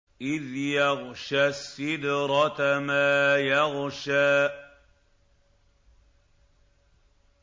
إِذْ يَغْشَى السِّدْرَةَ مَا يَغْشَىٰ